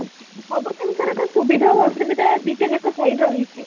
ସବୁ ଜିନିଷ ର ତ ସୁବିଧା ଆଉ ଅସୁବିଧା ଦିଟା ଯାକ side ରହିଛି